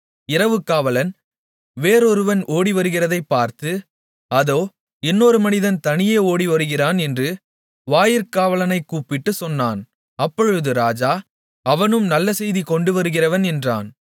இரவு காவலன் வேறொருவன் ஓடிவருகிறதைப் பார்த்து அதோ இன்னொரு மனிதன் தனியே ஓடிவருகிறான் என்று வாயிற்காவலனைக் கூப்பிட்டுச் சொன்னான் அப்பொழுது ராஜா அவனும் நல்ல செய்தி கொண்டுவருகிறவன் என்றான்